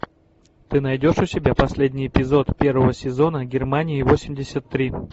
ты найдешь у себя последний эпизод первого сезона германии восемьдесят три